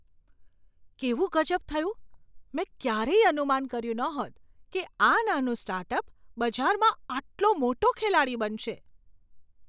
કેવું ગઝબ થયું! મેં ક્યારેય અનુમાન કર્યું ન હોત કે આ નાનું સ્ટાર્ટઅપ બજારમાં આટલો મોટો ખેલાડી બનશે.